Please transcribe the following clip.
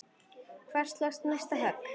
Hvar slóstu næsta högg?